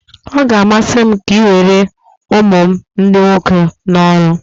Ọ ga-amasị m ka ị were ụmụ m ndị nwoke n'ọrụ